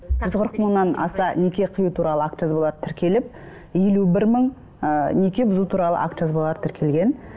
жүз қырық мыңнан аса неке қию туралы акт жазбалары тіркеліп елу бір мың ыыы неке бұзу туралы акт жазбалары тіркелген